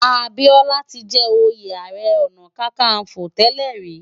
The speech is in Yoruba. Abiola ti jè óyé àárè òná kàkánfó tèlè ri